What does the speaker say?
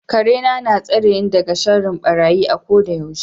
Karena na tsareni daga sharrin barayi a kodayaushe.